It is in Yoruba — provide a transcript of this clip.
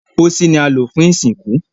pósí ni a lò fún ìsìnkú